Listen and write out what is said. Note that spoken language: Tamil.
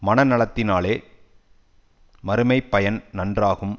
மன நலத்தினாலே மறுமை பயன் நன்றாகும்